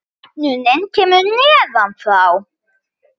Opnunin kemur neðan frá.